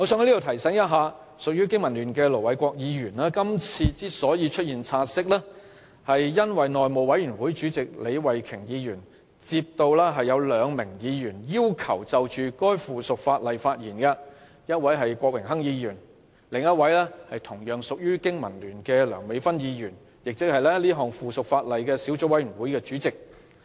我在此提醒隸屬香港經濟民生聯盟的盧偉國議員，是項"察悉議案"由內務委員會主席李慧琼議員提出，原因是她接獲兩位議員的要求，擬就該項附屬法例發言，一位是郭榮鏗議員，另一位是同屬經民聯的梁美芬議員，即《〈2017年實習律師規則〉公告》小組委員會主席。